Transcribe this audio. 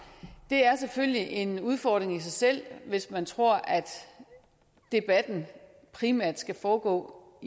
det er selvfølgelig en udfordring i sig selv hvis man tror at debatten primært skal foregå